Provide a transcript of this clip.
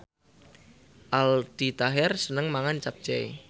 Aldi Taher seneng mangan capcay